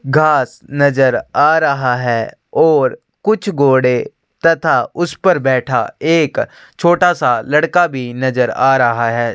घास नज़र आ रहा है और कुछ घोड़े तथा उस पे बैठा एक छोटा लड़का का भी नज़र आ रहा है।